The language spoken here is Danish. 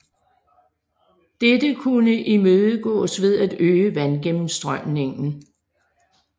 Dette kunne imødegås ved at øge vandgennemstrømningen